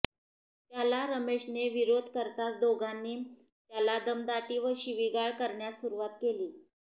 त्याला रमेशने विरोध करताच दोघांनी त्याला दमदाटी व शिवीगाळ करण्यास सुरुवात केली